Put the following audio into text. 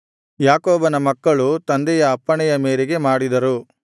ಯಾಕೋಬನ ಮಕ್ಕಳು ತಂದೆಯ ಅಪ್ಪಣೆಯ ಮೇರೆಗೆ ಮಾಡಿದರು